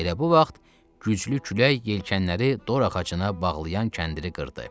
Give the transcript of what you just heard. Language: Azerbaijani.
Elə bu vaxt güclü külək yelkənləri dor ağacına bağlayan kəndiri qırdı.